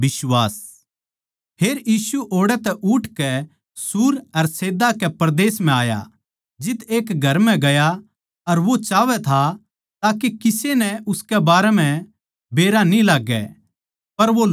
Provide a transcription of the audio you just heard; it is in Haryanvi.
फेर यीशु ओड़ै तै उठकै सूर अर सैदा के परदेस म्ह आया जित्त एक घर म्ह गया अर वो चाहवै था के किसे नै उनके बारें म्ह बेरा न्ही लाग्गै पर वो लुह्क न्ही सक्या